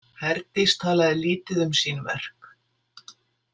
Herdís talaði lítið um sín verk.